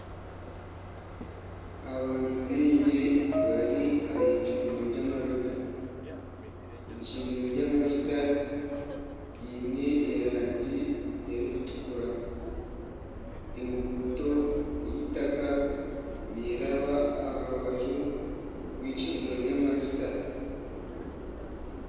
Abantu baingi bari ahicundiro ry'amajuta ,eicumdiro ry'amajuta riine erangi erikutukura enguuto y'eitaka neraba aha rubaju rw'eicundiro ry'eitaka